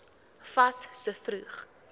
fas so vroeg